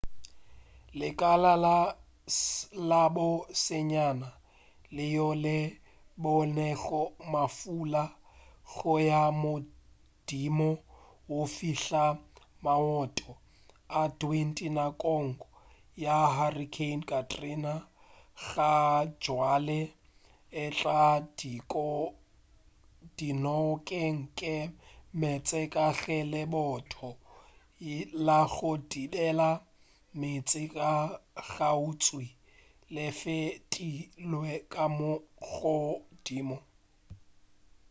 lekala la bo senyane leo le bonego mafula go ya godimo go fihla maoto a 20 nakong ya hurricane katrina gabjale e tla dinokeng ke meetse ka ge lebotho la go thibela meetse la kgauswi le fetilwe ka godimo